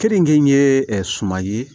Keninge ye ɛɛ suman ye